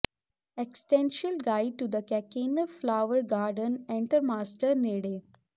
existential guide to the Keukenhof flower garden ਐਂਟਰਮਾਸਟਰ ਨੇੜੇ